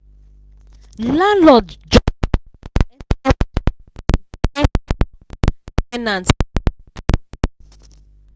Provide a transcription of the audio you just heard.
landlorld just burst enter with rent incasee shock ten ant like thunder.